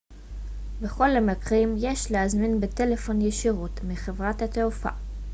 בכל המקרים יש להזמין בטלפון ישירות מחברת התעופה